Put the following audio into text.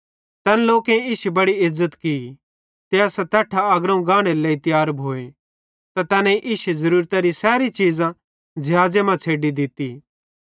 तैन लोकेईं इश्शी बड़ी इज़्ज़त की ते असां तैट्ठां अग्रोवं गानेरे लेइ तियार भोए त तैनेईं इश्शी ज़ुरुरतरी सैरी चीज़ां ज़िहाज़े मां छ़ैडी दित्ती